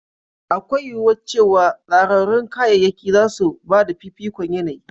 Akwai yuwuwar cewa tsararrun kayayyaki za su ba da fifikon yanayi.